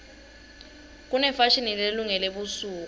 kunefashini lelungele busuku